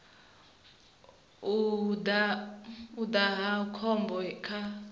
u daha hu khombo kha